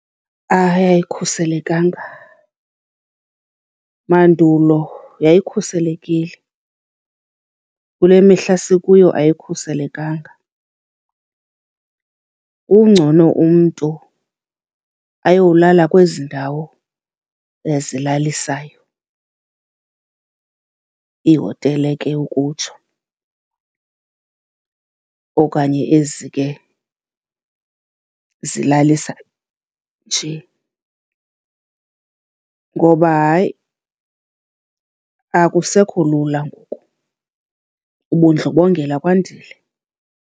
Hayi, ayikhuselekanga. Mandulo yayikhuselekile, kule mihla sikuyo ayikhuselekanga. Kngcono umntu ayolala kwezi ndawo zilalisayo, iihotele ke ukutsho okanye ezi ke zilalisa nje. Ngoba hayi akusekho lula ngoku, ubundlobongela kwandile.